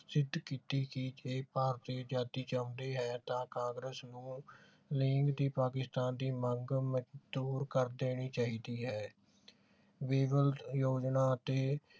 ਕੀਤੀ ਕਿ ਜੇ ਭਾਰਤੀ ਅਜਾਦੀ ਚਾਹੁੰਦੇ ਹੈ ਤਾਂ ਕਾਂਗਰਸ ਨੂੰ ਲੀਗ ਦੀ ਪਾਕਿਸਤਾਨ ਦੀ ਮੰਗ ਮੰਜੂਰ ਕਰ ਦੇਣੀ ਚਾਹੀਦੀ ਹੈ ਯੋਜਨਾ ਤੇ